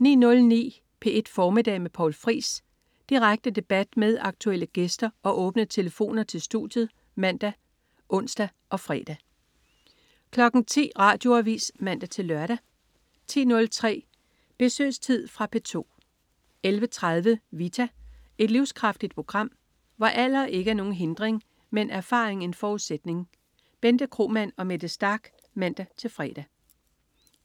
09.09 P1 Formiddag med Poul Friis. Direkte debat med aktuelle gæster og åbne telefoner til studiet (man-ons og fre) 10.00 Radioavis (man-lør) 10.03 Besøgstid. Fra P2 11.30 Vita. Et livskraftigt program, hvor alder ikke er nogen hindring, men erfaring en forudsætning. Bente Kromann og Mette Starch (man-fre)